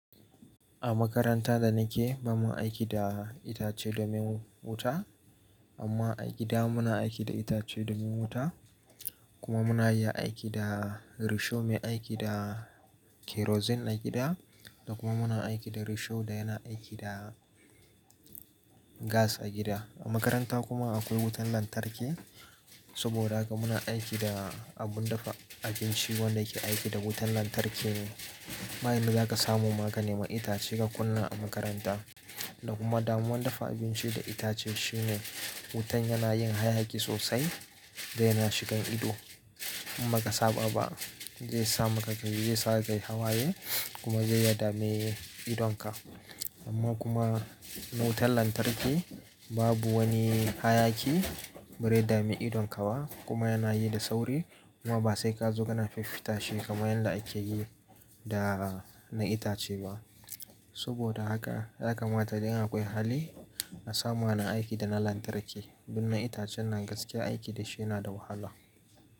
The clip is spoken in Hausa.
A makaranta da nike ba mu aiki da itace domin wuta, amma a gida muna aiki da itace domin wuta kuma muna iya aiki da risho mai aiki da kerosene a gida da kuma muna aiki da risho da yana aiki da gas a gida. A makaranta kuma akwai wutan lantarki saboda haka muna aiki da abun dafa abinci wanda yake aiki da wutan lantarki ne. Ba inda zaka samu magani ma itace ka kunna a makaranta, da kuma damuwan dafa abinci da itace shine wutan yana yin hayaki sosai zai na shigan ido in baka saba ba. Zai samaka d zai sa kai hawaye kuma zai ya dame idonka. Amma kuma wutan lantarki babu wani hayaki ba zai dame idonka ba kuma yana yi da sauri kuma ba sai ka zo kana fiffita shi kamar yanda akeyi da na itace ba. Saboda haka ya kamata idan akwai hali a sama na aiki da na lantarki bin na itacen nan gaske aiki da shi yana da wahala.